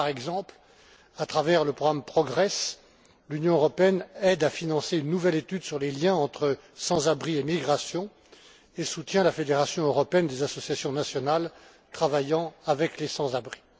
Par exemple, à travers le programme PROGRESS, l'Union européenne aide à financer une nouvelle étude sur les liens entre sans abris et migration et soutient la Fédération européenne des associations nationales travaillant avec les sans abris.